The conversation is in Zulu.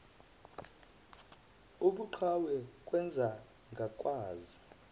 ubuqhawe kwenze ngakwazi